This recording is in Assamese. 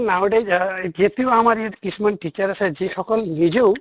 এতিয়াও আমাৰ ইয়াত কিছুমান teacher আছে যিসকম নিজেও